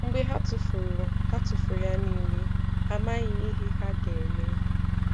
Mgbè hà tụ́furù hà tụ́furù yà niilè, hà amaghị̀ ihè hà ga-emè.